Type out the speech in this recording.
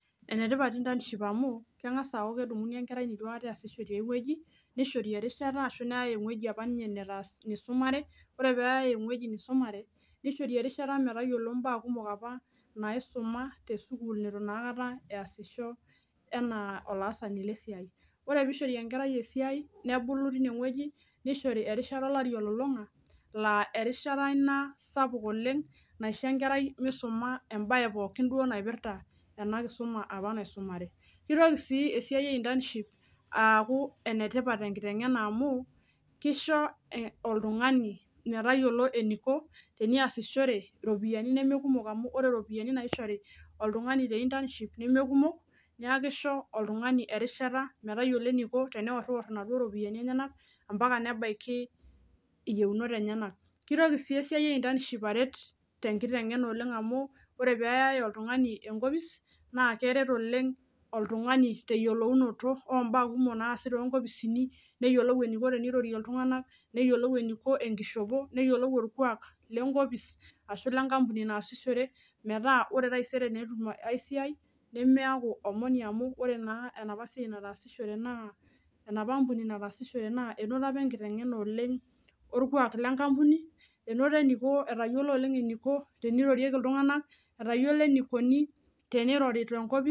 Ene tipat intaniship amu keng'asa aaku kedumuni enkerai nitu aikata easisho tiai wueji nishori erishata ashu neyai ewueji apa nye nitaas nisumare, ore peeyai ewueji nisumare nishori erishata metayiolo imbaa kumok apa naisuma te sukuul nitu naa akata easisho enaa olaasani le siai. Ore piishori enkerai esiai nebulu tine wueji nishori erishata olari olulung'a laa erishata ina sapuk oleng' naisho enkerai misuma embaye pookin duo naipirta ena kisuma apa naisumare. kitoki sii esiai e intaniship aaku ene tipat tenkiteng'ena amu kisho oltung'ani metayiolo eniko teniasishore iropiani neme kumok amu ore iropiani naishori oltung'ani te intaniship neme kumok, neeku kisho oltung'ani erishata metayiolo eniko teneoror inaduo ropiani enyenak mpaka nebaiki iyeunot enyenak. Kitoki sii esiai e intaniship aret tenkiteng'ena oleng' amu ore peeyai oltung'ani enkopis naa keret oleng' oltung'ani te yiolounoto oo mbaa naasi too nkopisini, neyiolou eniko tenirorie iltung'anak, neyiolou eniko enkishopo, neyiolou orkuak le nkopis ashu le nkampuni naasishore metaa ore taisere naa etum ai siai nemeaku omoni amu ore naa enapa siai nataasishore naa enapa ampuni nataasishore naa inoto apa enkiteng'ena oleng' orkuak le nkampuni, enoto eniko etayiolo oleng' eniko tenirorieki iltung'anak, etayiolo enikoni teneriro te nkopis.